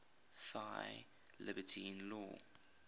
thy liberty in law